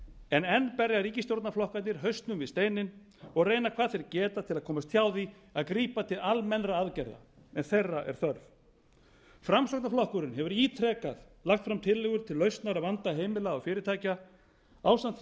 en enn berja ríkisstjórnarflokkarnir hausnum við steininn og reyna hvað þeir geta til að komast hjá því að grípa til almennra aðgerða þeirra er þörf framsóknarflokkurinn hefur ítrekað lagt fram tillögur til lausnar á vanda heimila og fyrirtækja ásamt hvað